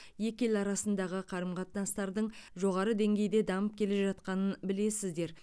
екі ел арасындағы қарым қатынастардың жоғары деңгейде дамып келе жатқанын білесіздер